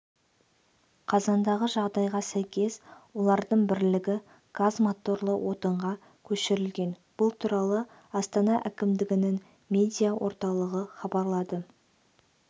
қазандағы жағдайға сәйкес олардың бірлігі газ моторлы отынға көшірілген бұл туралы астана әкімдігінің медиа орталығы хабарлады